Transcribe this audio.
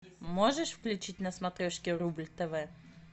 можешь включить на смотрешке рубль тв